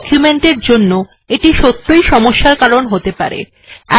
বড় ডকুমেন্ট এর জন্য এটি সত্যই সমস্যার কারণ হতে পারে